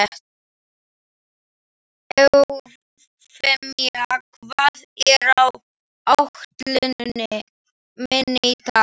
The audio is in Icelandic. Eufemía, hvað er á áætluninni minni í dag?